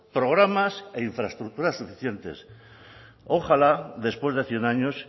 programas e infraestructuras suficientes ojalá después de cien años